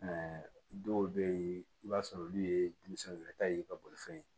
dɔw bɛ yen i b'a sɔrɔ olu ye denmisɛnninw yɛrɛ ta ye ka bolifɛn